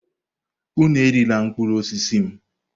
Unu erila mkpụrụ osisi m!